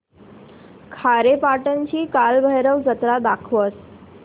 खारेपाटण ची कालभैरव जत्रा दाखवच